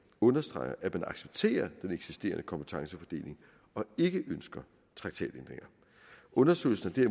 understreger at man accepterer den eksisterende kompetencefordeling og ikke ønsker traktatændringer undersøgelsen er